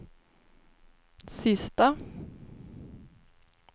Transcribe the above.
sista